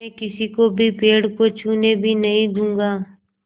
मैं किसी को भी पेड़ को छूने भी नहीं दूँगा